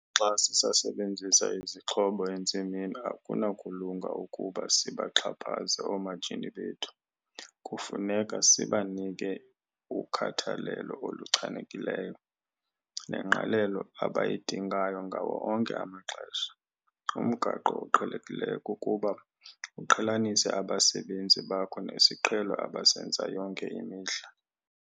Xa sisasebenzisa izixhobo entsimini, akunakulunga ukuba sibaxhaphaze oomatshini bethu. Kufuneka sibanike ukhathalelo oluchanekileyo nengqalelo abayidingayo ngawo onke amaxesha. Umgaqo oqhelekileyo kukuba uqhelanise abasebenzi bakho nesiqhelo abasenza yonke imihla.